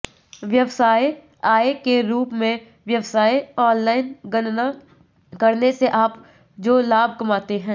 व्यवसाय आय के रूप में व्यवसाय ऑनलाइन गणना करने से आप जो लाभ कमाते हैं